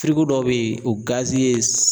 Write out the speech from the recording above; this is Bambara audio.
dɔw bɛ ye o gazi ye